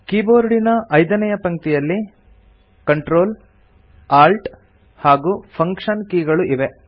ಕೀಬೋರ್ಡಿನ ಐದನೇಯ ಪಂಕ್ತಿಯಲ್ಲಿ Ctrl Alt ಹಾಗೂ ಫಂಕ್ಷನ್ ಕೀಗಳು ಇವೆ